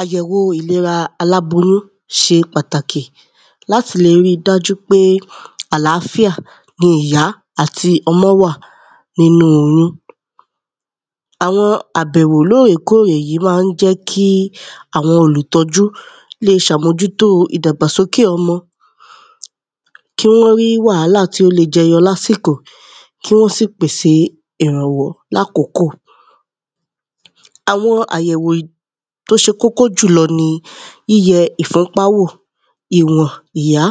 Àyẹ̀wò ìlera aláboyún ṣe pàtàkì. Láti le rí i dájú pé àlàfíà ni ìyá àti ọmọ́ wà nínú oyún. Àwọn àbẹ̀wò lórèkórè yí má ń jẹ́ kí àwọn olùtọ́jú le ṣàmójútóo ìdàgbàsókè ọmọ. Kí wọ́n rí wàhálà tó le jẹyọ lásìkò. Kí wọ́n sì pèsè ìrànwọ́ lákókò. Àwọn àyẹ̀wò tó ṣe kókó jùlọ ni yíyẹ ìfúnpá wò, ìwọ̀n ìyá,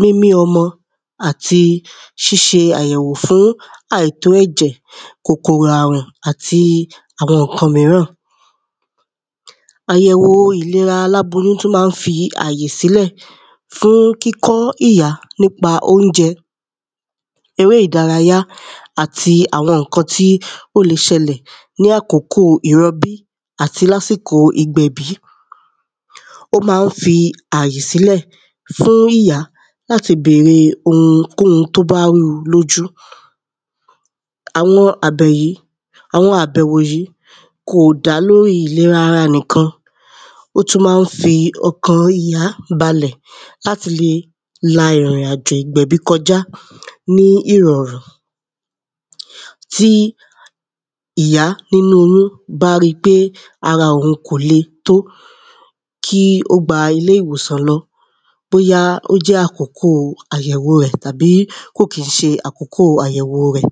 mímí ọmọ àti síṣe àyẹ̀wò fún àìtó ẹ̀jẹ̀, kòkòrò àrùn, àti ǹkan míràn. Àyẹ̀wò ìlera aláboyún tún má ń fi àyè sílẹ̀ fún kíkọ́ ìyá nípa óújẹ, eré ìdárayá, àti àwọn ǹkan tí ó le ṣẹlẹ̀ ní àkókò ìrọbí àti lásìkò ìgbẹ̀bí. Ó má ń fi àyè sílẹ̀ fún ìyá láti bère ohunkóhun tó bá rúu lójú. Àwọn àbẹ̀ yí àwọn àbẹ̀wò yí kò dá lórí ìlera ara nìkan. Ó tún má ń fi ọkàn ìyá balẹ̀ láti lè la ìrìn-àjò ìgbẹ̀bí kọjá ní ìrọ̀rùn. Tí ìyá nínú oyún bá rí pé ara òun kò le tó, kí ó gba ilé ìwòsàn lọ. Bóyá ó jẹ́ àkókò àyẹ̀wo rẹ̀ àbí kìí ṣe àkókò àyẹ̀wo rẹ̀.